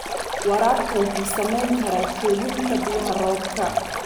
Waraabka wuxuu saameyn karaa kaydinta biyaha roobka.